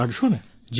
કાઢશો ને